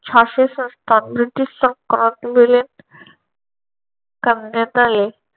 झाशी संस्थान ब्रिटिश संस्थानात विलीन करण्यात आले.